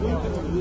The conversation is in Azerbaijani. Tamam.